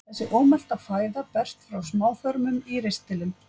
Þessi ómelta fæða berst frá smáþörmum í ristilinn.